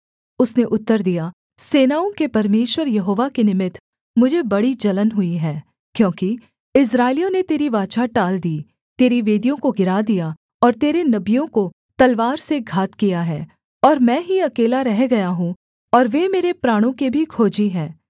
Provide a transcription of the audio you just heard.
उसने उत्तर दिया सेनाओं के परमेश्वर यहोवा के निमित्त मुझे बड़ी जलन हुई है क्योंकि इस्राएलियों ने तेरी वाचा टाल दी तेरी वेदियों को गिरा दिया और तेरे नबियों को तलवार से घात किया है और मैं ही अकेला रह गया हूँ और वे मेरे प्राणों के भी खोजी हैं